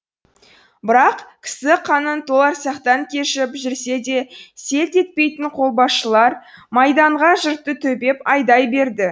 бірақ кісі қанын толарсақтан кешіп жүрсе де селт етпейтін қолбасшылар майданға жұртты төпеп айдай берді